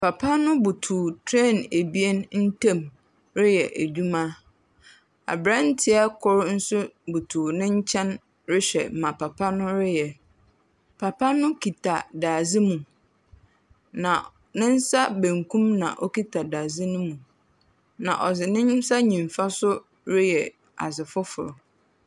Papa no butuw tren abien ntem reyɛ adwuma. Abranteɛ koro nso butuw ne nkyɛn rehwɛ nea papa no reyɛ. Papa no kita dade mu. Na ne nsa benkum na okita dadze no mu. Na ɔde ne nsa nifa so reyɛ adze foforo.